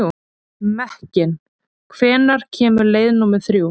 Mekkin, hvenær kemur leið númer þrjú?